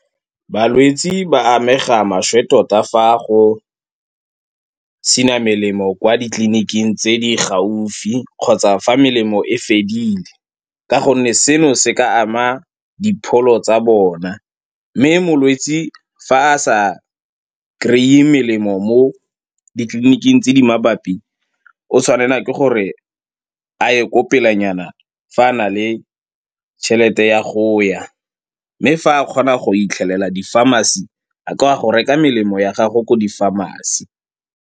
Balwetse ba amega maswe tota fa go sena melemo kwa ditleliniking tse di gaufi kgotsa fa melemo e fedile ka gonne seno se ka ama dipholo tsa bona. Mme molwetse fa a sa kry-e melemo mo ditleliniking tse di mabapi o tshwanela ke gore a ye ko pelenyana fa a na le tšhelete ya go ya, mme fa a kgona go fitlhelela di-pharmacy a ka go reka melemo ya gage ko di-pharmacy.